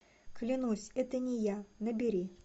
клянусь это не я набери